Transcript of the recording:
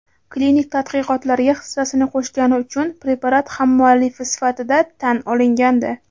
klinik tadqiqotlarga hissasini qo‘shgani uchun preparat hammuallifi sifatida tan olingandi.